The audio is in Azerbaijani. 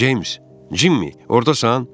James, Cimmi, ordasan?